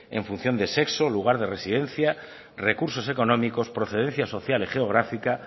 en función de sexo lugar de residencia recursos económicos procedencia social y geográfica